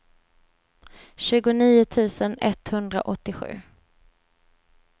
tjugonio tusen etthundraåttiosju